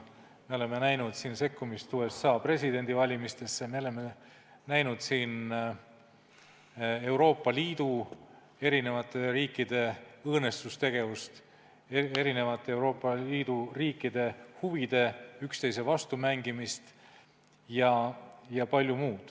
Me oleme näinud siin sekkumist USA presidendivalimistesse, me oleme näinud Euroopa Liidu eri riikide suhtes õõnestustegevust, Euroopa Liidu riikide huvide üksteise vastu mängimist jpm.